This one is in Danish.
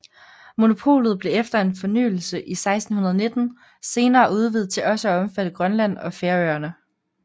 Monopolet blev efter en fornyelse i 1619 senere udvidet til også at omfatte Grønland og Færøerne